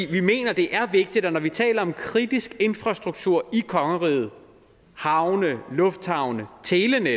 vi mener det er vigtigt og når vi taler om kritisk infrastruktur i kongeriget havne lufthavne telenet